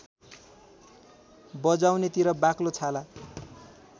बजाउनेतिर बाक्लो छाला